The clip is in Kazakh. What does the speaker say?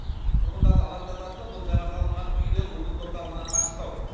тұрғындарды алаңдататыны бұл жаңа салынған үйлер облыс орталығынан қашықтау